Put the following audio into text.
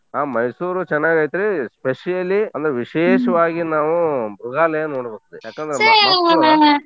ಹಾ ಮೈಸೂರೂ ಚೆನಾಗೈತ್ರೀ specially ಅಂದ್ರೆ ವಿಶೇಷವಾಗಿ ನಾವು ಮೃಗಾಲಯ ನೋಡ್ಬೇಕು ಯಾಕಂದ್ರೆ .